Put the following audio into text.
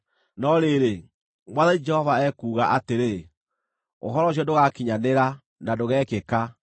No rĩrĩ, Mwathani Jehova ekuuga atĩrĩ: “ ‘Ũhoro ũcio ndũgaakinyanĩra, na ndũgekĩka,